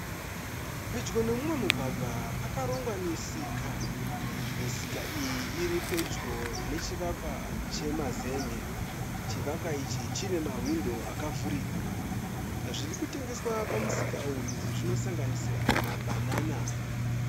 Pedyo noumwe mugwagwa pakarongwa misika. Misika iyi iripedyo nechivakwa chemazen'e. Chivakwa ichi chine mahwindo akavhurika. Zvirikutengeswa pamusika uyu zvinosanganisira mabhanana.